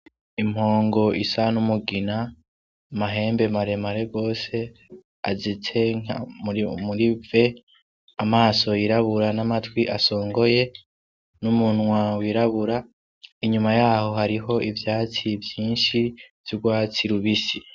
Impongo isa n'umugina, amahembe maremare rwose azitse muri v. Amaso yirabura, n'amatwi asongoye, n'umunwa wirabura. Inyuma yaho hariho ivyatsi vyinshi vy'urwatsi rubisi.